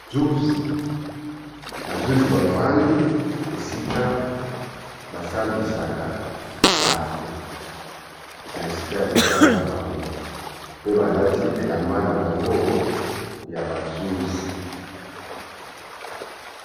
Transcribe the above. Ba zuzi, ba zuzi bafandi esika ba sambisaka bato. Na esika ya mosala na bango pe balati elamba na bango ya ba zuzi.